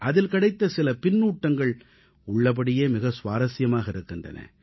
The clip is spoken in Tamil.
அதில் கிடைத்த சில பின்னூட்டங்கள் உள்ளபடியே மிக சுவாரசியமாக இருக்கின்றன